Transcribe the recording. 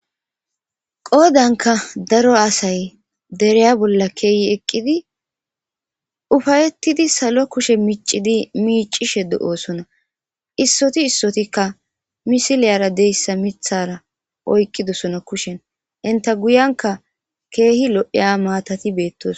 Qoodankka daro asay deriya bolla kiyi eqqidi ufayrhrhidi salo kushe miccidi miiccishe de7oosona; issothi issothikka misiliyaara de7issa miththaara oyqqidosona kushen; enththa guyiyankka keehi lo7iya maathathi beeththoosona.